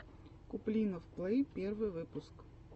куплинов плэй первый выпуск